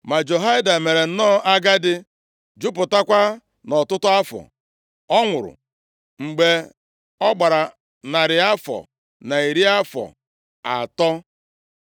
Ma Jehoiada mere nnọọ agadi, jupụtakwa nʼọtụtụ afọ, ọ nwụrụ mgbe ọ gbara narị afọ na iri afọ atọ.